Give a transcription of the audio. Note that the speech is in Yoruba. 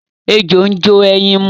Ejò ń jó ẹyin mu.